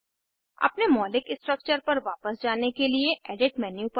object को मिटाने के लिए कीबोर्ड पर डिलीट की का उपयोग करें ऑब्जेक्ट सेलेक्ट करें